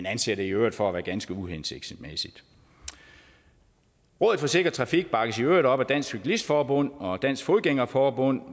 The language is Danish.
anser det i øvrigt for at være ganske uhensigtsmæssigt rådet for sikker trafik bakkes i øvrigt op af dansk cyklist forbund og dansk fodgænger forbund